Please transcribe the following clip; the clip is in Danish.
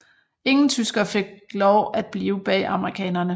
Ingen tyskere fik lov at blive bag amerikanerne